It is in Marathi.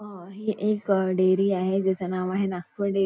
अ ही एक डेअरी आहे ज्याचं नाव आहे नागपूर डेअरी --